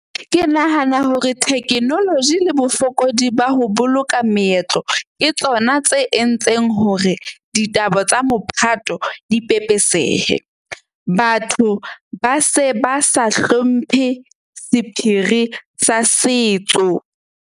Ke nahana hore technology le bofokodi ba ho boloka meetlo ke tsona tse entseng hore ditaba tsa mophato di pepesehe. Batho ba se ba sa hlomphe sephiri sa setso.